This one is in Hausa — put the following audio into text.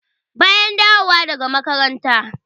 Bayan na dawo daga makaranta.